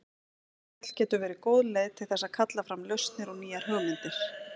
Spjall getur verið góð leið til þess að kalla fram lausnir og nýjar hugmyndir.